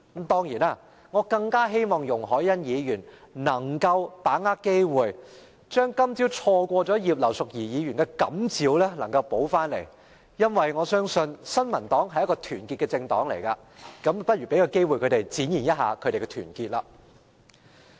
當然，我更希望容海恩議員能夠把握機會，不要再錯過葉劉淑儀議員今早的感召，因為我相信新民黨是團結的，就讓我們給她們機會展現團結。